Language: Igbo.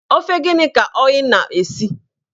Ofe gịnị ka oyna-esi?